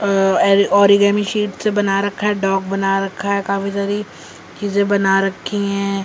Origami sheet से बना रखा है डॉग बना रखा है काफी सारी चीजें बना रखी हैं।